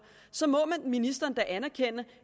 så må ministeren da anerkende